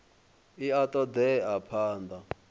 i a ṱo ḓea phanḓa